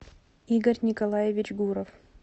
игорь николаевич гуров